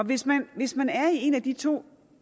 hvis man hvis man er i et af de to